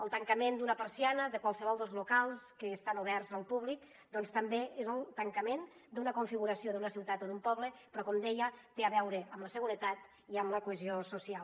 el tancament d’una persiana de qualsevol dels locals que estan oberts al públic doncs també és el tancament d’una configuració d’una ciutat o d’un poble però com deia té a veure amb la seguretat i amb la cohesió social